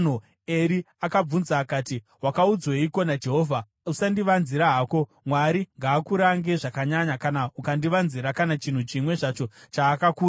Eri akabvunza akati, “Wakaudzweiko naJehovha? Usandivanzira hako. Mwari ngaakurange zvakanyanya kana ukandivanzira kana chinhu chimwe zvacho chaakakuudza.”